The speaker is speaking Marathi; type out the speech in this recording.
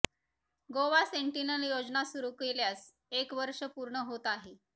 गोवा सेन्टीनल योजना सुरू केल्यास एक वर्ष पूर्ण होत आहे